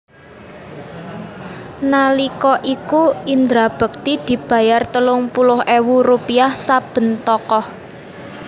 Nalika iku Indra bekti dibayar telung puluh éwu rupiah saben tokoh